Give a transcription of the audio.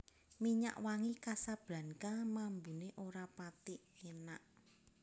Minyak wangi Casablanca mambune ora pathi enak